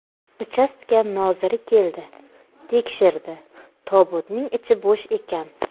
Uchastka noziri keldi, tekshirdi, tobutning ichi bo‘sh ekan.